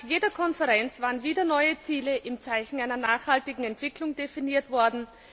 Nach jeder Konferenz waren wieder neue Ziele im Zeichen einer nachhaltigen Entwicklung definiert worden.